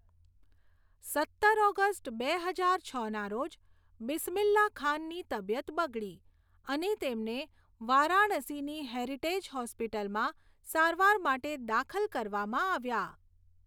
સત્તર ઓગસ્ટ બે હજાર છના રોજ, બિસ્મિલ્લાહ ખાનની તબિયત બગડી અને તેમને વારાણસીની હેરિટેજ હોસ્પિટલમાં સારવાર માટે દાખલ કરવામાં આવ્યા.